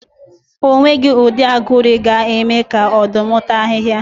O nweghi ụdị aguru ga-eme ka Ọ̀dụ́m tàa ahị́hia